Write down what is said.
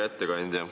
Hea ettekandja!